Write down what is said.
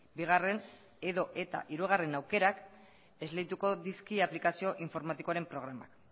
bigarren edota hirugarren aukerak esleituko dizkie aplikazio informatikoaren programak